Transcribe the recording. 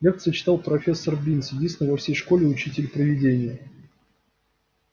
лекции читал профессор бинс единственный во всей школе учитель-привидение